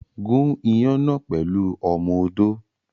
Gún iyán náà pẹ̀lú ọmọ odó.